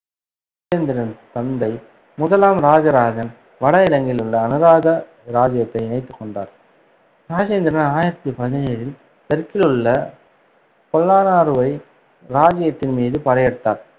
ராஜேந்திரனின் தந்தை முதலாம் இராஜராஜன் வட இலங்கையில் உள்ள அனுராத இராஜ்ஜியத்தை இணைத்துக் கொண்டார். ராஜேந்திரன் ஆயிரத்தி பதினேழில் தெற்கில் உள்ள றுவை இராஜ்ஜியத்தின் மீது படையெடுத்தார்.